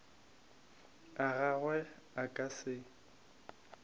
a gagwe a ka se